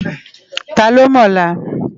Tá ló mò òlá?